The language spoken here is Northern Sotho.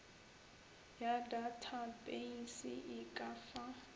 ya datapeise e ka fa